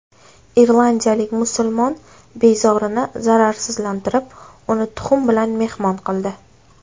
Irlandiyalik musulmon bezorini zararsizlantirib, uni tuxum bilan mehmon qildi.